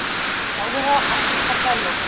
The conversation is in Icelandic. Ráðherra afturkallaði lokun